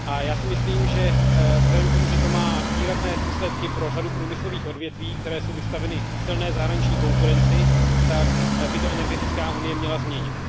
A já si myslím, že vzhledem k tomu, že to má výrazné důsledky pro řadu průmyslových odvětví, která jsou vystavena silné zahraniční konkurenci, tak by to energetická unie měla změnit.